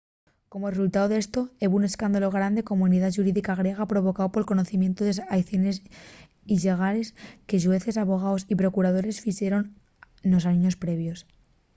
como resultáu d’esto hebo un escándalu grande na comunidá xurídica griega provocáu pol conocimientu de les aiciones illegales que xueces abogaos y procuradores fixeron nos años previos